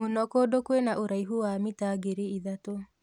Mũno kũndũ kwĩna ũraihu wa mita ngiri ithatũ.